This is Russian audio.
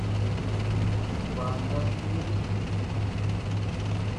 с банка скинуть